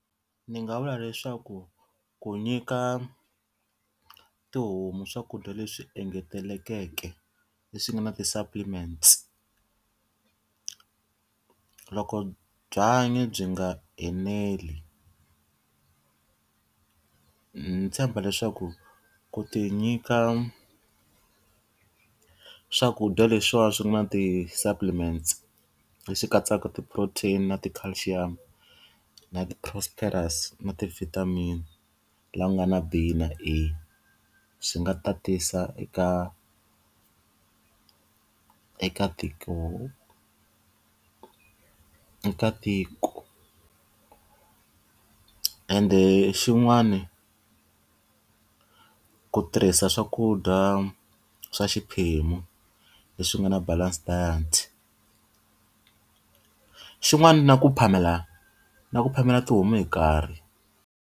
Ndzi nga vula leswaku ku nyika tihomu swakudya leswi engetelekeke leswi nga na ti-supplements. Loko byanyi byi nga eneli ndzi tshemba leswaku ku ti nyika swakudya leswiwa swi nga na ti-supplements, leswi katsaka ti-protein, na ti-calcium, na ti-prosperous na ti-vitamin, laha ku nga na b na a, swi nga tatisa eka eka ntiko ka ntiko. Ende xin'wani, ku tirhisa swakudya swa xiphemu leswi nga na balanced diet. Xin'wana na ku phamela na ku phamela tihomu hi nkarhi.